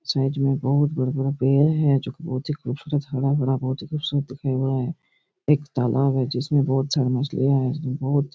side में बहोत बड़ा-बड़ा पेड़ है जो की बहोत ही खूबसूरत हरा-भरा बहोत ही खूबसूरत दिखाई दे रहा है एक तालाब है जिसमे बहोत सारी मछलियाँ है जो बहोत --